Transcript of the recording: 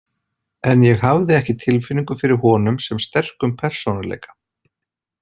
En ég hafði ekki tilfinningu fyrir honum sem sterkum persónuleika.